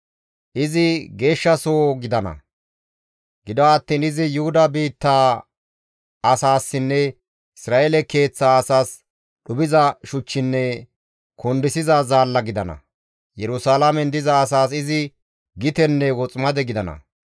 Izi geeshshasoho gidana; gido attiin izi Yuhuda biittaa asaassinne Isra7eele keeththaa asaas dhuphiza shuchchinne kundisiza zaalla gidana; Yerusalaamen diza asaas izi gitenne woximade gidana.